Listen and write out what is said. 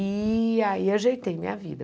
E aí ajeitei minha vida.